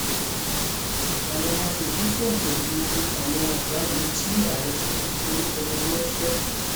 àwọn aṣòfin fòńté lu àwọn ọgágun tí ààrẹ tinubu forúkọ wọn ránṣẹ